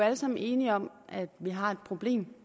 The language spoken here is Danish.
alle sammen enige om at vi har et problem